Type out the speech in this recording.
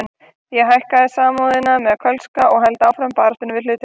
Ég hækka Samúðina með Kölska og held áfram baráttunni við hlutina.